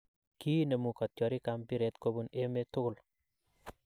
kInemu kotyorik ap mpiret kopun emeet tugul